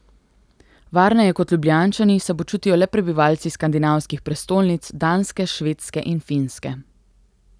Varneje kot Ljubljančani se počutijo le prebivalci skandinavskih prestolnic Danske, Švedske in Finske.